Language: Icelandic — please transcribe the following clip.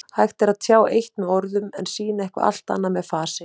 Hægt er að tjá eitt með orðum en sýna eitthvað allt annað með fasi.